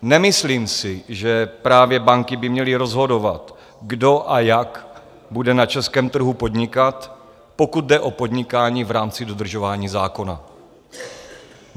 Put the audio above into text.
Nemyslím si, že právě banky by měly rozhodovat, kdo a jak bude na českém trhu podnikat, pokud jde o podnikání v rámci dodržování zákona.